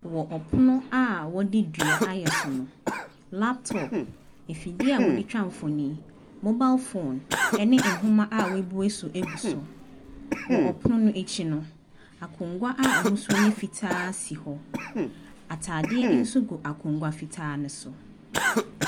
Wɔ ɛpono a wɔde dua ayɛ so no, laptop, afidie a wɔde twa mfonin, mobile phone ne nhoma a wɔabue so gu so. Wɔ pono no akyi no, akongua a ahosuo yɛ fitaa si hɔ. Atadeɛ nso gu akongua fitaa no so.